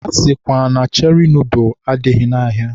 A sịkwa na Cheri nọdụl adịghị n'ahịa.